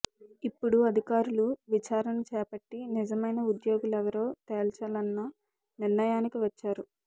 ఇప్పుడు అధికారులు విచారణ చేపట్టి నిజమైన ఉద్యోగులెవరో తేల్చాలన్న నిర్ణయానికి వచ్చారు